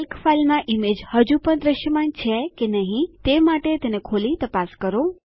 Calc ફાઈલમાં image હજુપણ દ્રશ્યમાન છે કે તે માટે તેને ખોલી તપાસ કરો